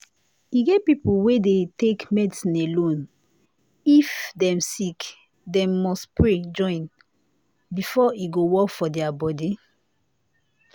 e get people wey dey take medicine alone o if dem sick dem must pray join am before e go work for their body